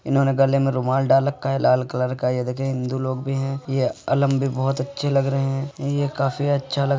इन्होंने गले में रुमाल डाल रखा है लाल कलर का ये देखिये हिन्दू लोग भी हैं। ये अलम भी बहुत अच्छे लग रहे हैं। ये काफी अच्छा लग --